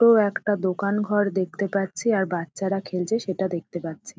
টো একটা দোকানঘর দেখতে পাচ্ছি আর বাচ্ছারা খেলছে সেটা দেখতে পাচ্ছি ।